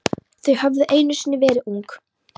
Þau höfðu einu sinni verið ung.